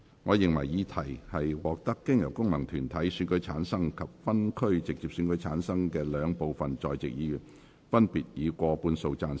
我認為議題獲得經由功能團體選舉產生及分區直接選舉產生的兩部分在席議員，分別以過半數贊成。